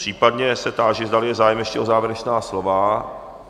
Případně se táži, zdali je zájem ještě o závěrečná slova?